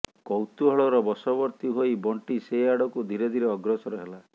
କୌତୂହଳର ବଶବର୍ତ୍ତୀ ହୋଇ ବଣ୍ଟି ସେ ଆଡ଼କୁ ଧୀରେ ଧୀରେ ଅଗ୍ରସର ହେଲା